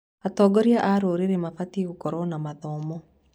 Atongoria a rũrĩrĩ mabatiĩ gũkorwo na mathomo.